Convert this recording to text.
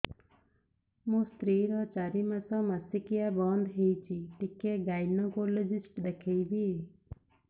ମୋ ସ୍ତ୍ରୀ ର ଚାରି ମାସ ମାସିକିଆ ବନ୍ଦ ହେଇଛି ଟିକେ ଗାଇନେକୋଲୋଜିଷ୍ଟ ଦେଖେଇବି